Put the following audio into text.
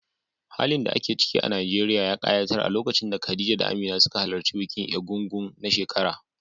Halin da ake ciki a Najeriya ya ƙayatar a lokacin da Khadija da Amina suka halarci bikin Ègúngún na shekara.